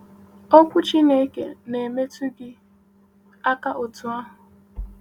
Okwu Chineke na-emetụ gị aka otú ahụ?